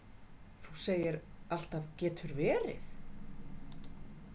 Þú segir alltaf getur verið!